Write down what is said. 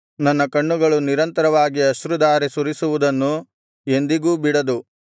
ನನ್ನ ಕಣ್ಣುಗಳು ನಿರಂತರವಾಗಿ ಅಶ್ರುಧಾರೆ ಸುರಿಸುವುದನ್ನು ಎಂದಿಗೂ ಬಿಡದು